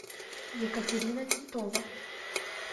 екатерина титова